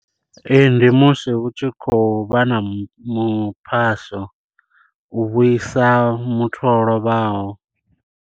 Ee ndi musi hu tshi khou vha na muphaso u vhuisa muthu o lovhaho.